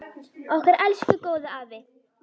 Okkar elsku góði afi!